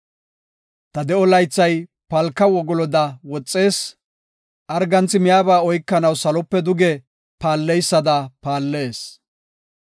Ta de7o laythay palka wogoloda woxees; arganthi miyaba oykanaw salope duge paalleysada paallees.